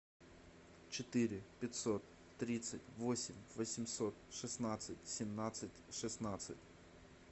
четыре пятьсот тридцать восемь восемьсот шестнадцать семнадцать шестнадцать